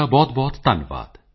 ਜਾਤਿਜਾਤਿ ਮੈਂ ਜਾਤਿ ਹੈ